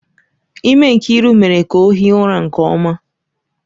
Ime Nkiru mere ka ọ hie ụra nke ọma.